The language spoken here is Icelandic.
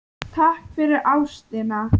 Takk fyrir ástina.